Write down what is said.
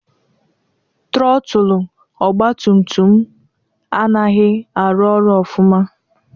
Trọtụlụ ọgbatumtum m anaghị arụ ọrụ ọfụma.